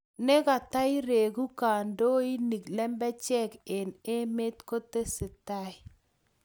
negatairegu kandoinik lembechek eng emet kotesetai